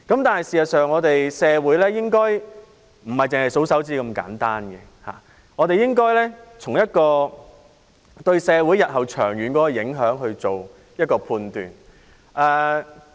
但是，社會不應用如此簡單的數算方法，而應從對社會日後長遠的影響來判斷。